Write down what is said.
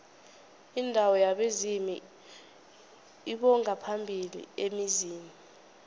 indawo yabezimu lbongaphambili emzini